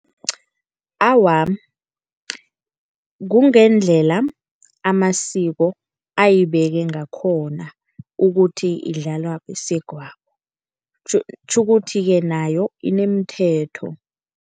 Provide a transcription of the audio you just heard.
Awa, kungendlela amasiko ayibeke ngakhona ukuthi, idlalwa besegwabo kutjhukuthi-ke nayo inemithetho.